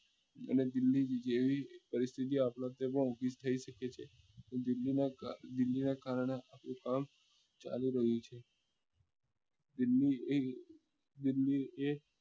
અને દિલ્લી જેવી પરિસ્થિતિ આપડે ત્યાં પણ ઉભી થઇ શકે છે તો દિલ્લી માં દિલ્લી ને કારણે હાલ તોફાન ચાલી રહ્યું છે દિલ્લી એ દિલ્લી એ